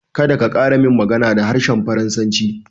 Kada ka ƙara min magana da harshen faransa